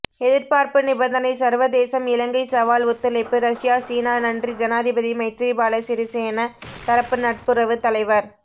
எதிர்பார்ப்பு நிபந்தனை சர்வதேசம் இலங்கை சவால் ஒத்துழைப்பு ரஷ்யா சீனா நன்றி ஜனாதிபதி மைத்திரிபால சிறிசேன தரப்பு நட்புறவு தலைவர்